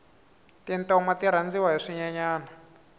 tintoma ti rhandziwa hi swinyenyani